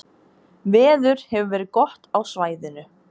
Veður hefur verið gott á svæðinu